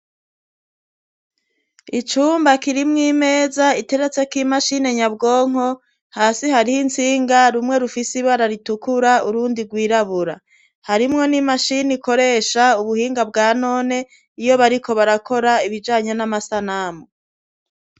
Icumba kirimwo imeza iteretse k'imashini nyabwonko hasi hariho insinga rumwe rufise ibararitukura urundi rwirabura harimwo n'imashini ikoresha ubuhinga bwa none iyo bariko barakora ibijanye n'amasanamu.